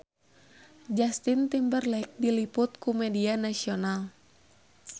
Justin Timberlake diliput ku media nasional